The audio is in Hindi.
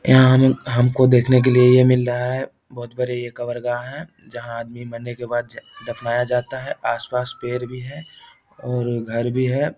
यहाँ हम हमको देखने के लिए ये मिल रहा है। बोहोत बड़े ये कबरगाह है जहां आदमी मरने के बाद दफनाया जाता है। आस-पास पेर भी है और घर भी है।